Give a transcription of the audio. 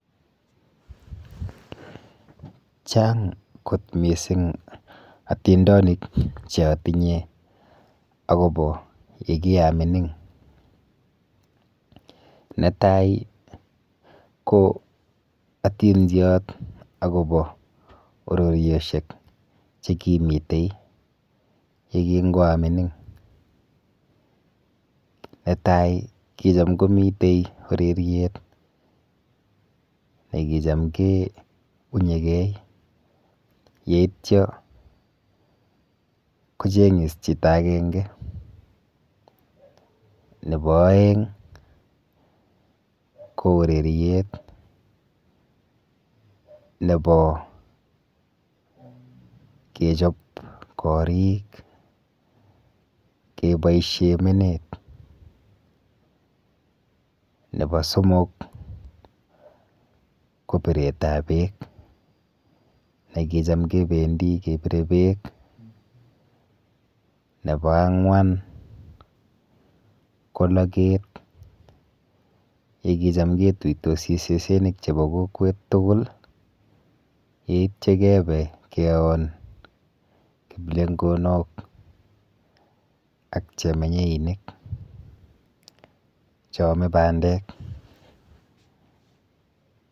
Chang' kot mising' atindonik cheatinye akobo yekiamining netai ko atindiot akobo bororioshek chekimitei ye kingoamining netai kicham komitei ureriet ne kicham keunyegei yeityo kocheng'is chito agenge nebo oeng' ko ureriet nebo kechop korik keboishe menet nebo somok ko biretab beek ne kicham kebendi kebire beek nebo ang'wan ko loket yekicham ketutosi sesenik chebo kokwet tugul yeityo kebe keon kiplengonok ak chemenyeinik cheomei bandek